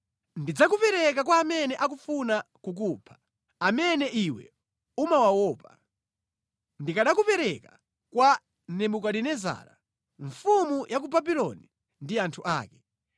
Ndidzakupereka kwa amene akufuna kukupha, amene iwe umawaopa. Ndidzakupereka kwa Nebukadinezara, mfumu ya ku Babuloni ndi anthu ake.